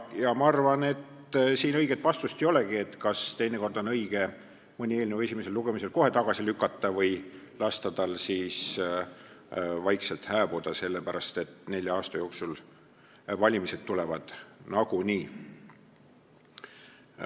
Ja ma arvan, et siin õiget vastust ei olegi, kas teinekord on õige mõni eelnõu esimesel lugemisel kohe tagasi lükata või lasta tal vaikselt hääbuda, sellepärast et nelja aasta jooksul valimised tulevad nagunii.